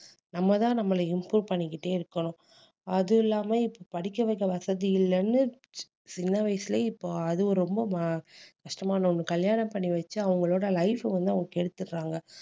நம்ம தான் நம்மள improve பண்ணிக்கிட்டே இருக்கணும் அது இல்லாம இப்ப படிக்க வைக்க வசதி இல்லைன்னு சி~ சின்ன வயசுலயே இப்ப அதுவும் ரொம்ப ம~ கஷ்டமான ஒண்ணு கல்யாணம் பண்ணி வச்சு அவங்களோட life வந்து அவங்க கெடுத்துடுறாங்க